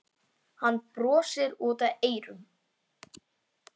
Hann brosir út að eyrum.